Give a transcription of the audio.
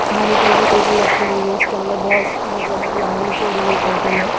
खाने के लिए जो टेबल लगी हुई है उसके अंदर बहोत मतलब बहोत लंबी जोड़ी है टेबल है।